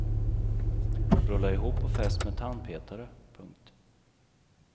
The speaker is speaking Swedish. Rulla ihop och fäst med tandpetare. punkt